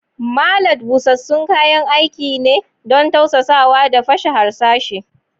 Mallet da busassun kayan aiki ne don tausasawa da fashe harsashi.